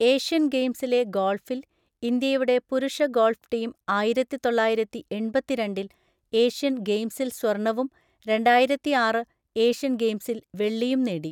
Asian ഗെയിംസിലെ ഗോൾഫിൽ, ഇന്ത്യയുടെ പുരുഷ ഗോൾഫ് ടീം ആയിരത്തി തൊള്ളായിരത്തി എണ്‍പത്തിരണ്ടിൽ ഏഷ്യൻ ഗെയിംസിൽ സ്വർണവും രണ്ടായിരത്തി ആറ് ഏഷ്യൻ ഗെയിംസിൽ വെള്ളിയും നേടി.